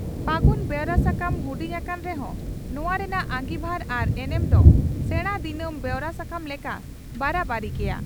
ᱯᱷᱟᱹᱜᱩᱱ' ᱵᱮᱣᱨᱟ ᱥᱟᱠᱟᱢ ᱦᱩᱰᱤᱧ ᱟᱠᱟᱱ ᱨᱮᱦᱚᱸ ᱱᱚᱣᱟ ᱨᱮᱱᱟᱜ ᱟᱸᱜᱤᱵᱷᱟᱨ ᱟᱨ ᱮᱱᱮᱢ ᱫᱚ ᱥᱮᱬᱟ ᱫᱤᱱᱟᱢ ᱵᱮᱣᱨᱟ ᱥᱟᱠᱟᱢ ᱞᱮᱠᱟ ᱵᱟᱨᱟ ᱵᱟᱹᱨᱤ ᱜᱮᱭᱟ ᱾